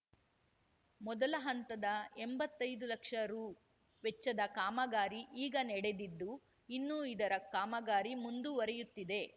ಮೊದಲ ಹಂತದ ಎಂಬತ್ತೈದು ಲಕ್ಷ ರುವೆಚ್ಚದ ಕಾಮಗಾರಿ ಈಗ ನಡೆದಿದ್ದು ಇನ್ನು ಇದರ ಕಾಮಗಾರಿ ಮುಂದುವರಿಯುತ್ತಿದೆ